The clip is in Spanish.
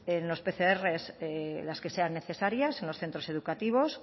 los pcr las que sean necesarias en los centros educativos